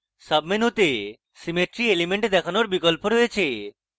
সাবমেনুতে symmetry elements দেখানোর বিকল্প রয়েছে